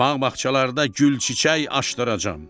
Bağ-bağçalarda gül, çiçək açdıracam.